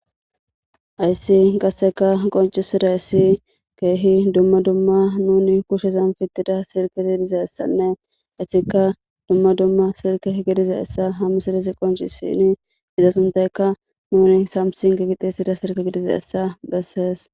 Ayssi qasseka qoncisida essi keehi dumma dumma nuni kushesan fittida sirke tidiza essanne issika dumma dumma sirke gidiza essa hami sirizi qoncisini iza suntekka nuni samsin gigixisida sirke gidiza essa gassees